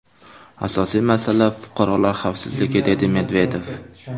Asosiy masala fuqarolar xavfsizligi”, dedi Medvedev.